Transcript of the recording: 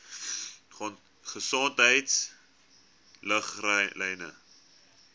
gesondheidriglyne